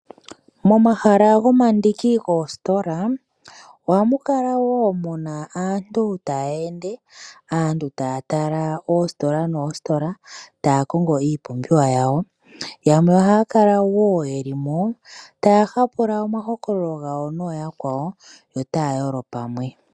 Momahala gomandiki goositola ohamu kala wo mu na aantu taya ende, aantu taya tala oositola noositola taya kongo iipumbiwa yawo, yamwe ohaya kala wo ye limo taya hapula omahokololo gawo nooyakwawo yo otaya yolo pamwe.